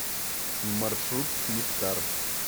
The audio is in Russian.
маршрут нектар